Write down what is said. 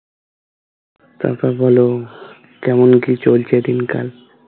তারপর বলো কেমন কি চলছে দিনকাল